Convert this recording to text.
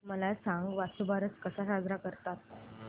मला सांग वसुबारस कसा साजरा करतात